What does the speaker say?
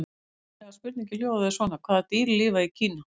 Upprunalega spurningin hljóðaði svona: Hvaða dýr lifa í Kína?